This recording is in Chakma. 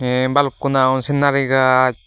tee bhalukkun agon scenery gaj.